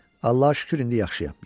Allaha şükür, indi yaxşıyam.